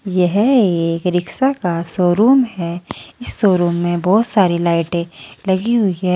यह एक रिक्शा का शोरूम है इस शोरूम में बहुत सारी लाइटें लगी हुई है।